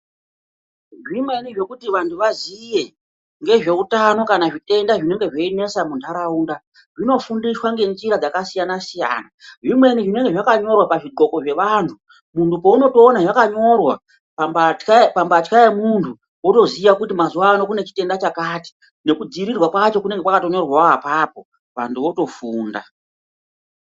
Zvimweni zvekuti vantu vaziye ngezveutano kana zvitenda zvinenge zveinesa muntharaunda zvinofundiswa ngenjira dzakasiyana-siyana zvimweni zvinenga zvakanyorwa pazvoqgoxo zveantu muntu peunotoona zvakanyorwa mambatya yemuntu wotoziya kuti mazuwa ano kune chitenda chakati nekudziirirwa kwacho kunenge kwakatonyorwawo apapo vantu votofunda.